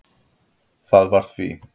Það var því